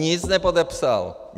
Nic nepodepsal.